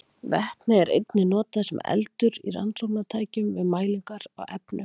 Vetni er einnig notað sem eldur í rannsóknartækjum við mælingar á efnum.